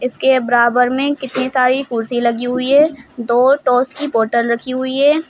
इसके के बराबर में कितनी सारी कुर्सी लगी हुई है दो टॉस की बॉटल रखी हुई है।